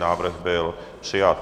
Návrh byl přijat.